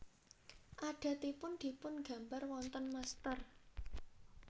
Adatipun dipun gambar wonten mestèr